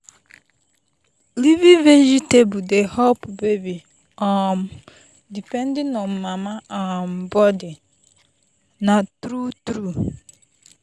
leafy veg dey help baby um depending on mama um body na true true.